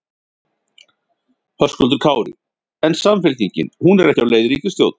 Höskuldur Kári: En Samfylkingin, hún er ekki á leið í ríkisstjórn?